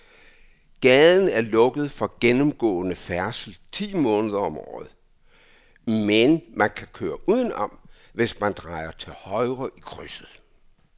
Gaden er lukket for gennemgående færdsel ti måneder om året, men man kan køre udenom, hvis man drejer til højre i krydset.